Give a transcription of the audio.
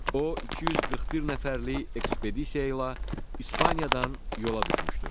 O 241 nəfərlik ekspedisiya ilə İspaniyadan yola düşmüşdür.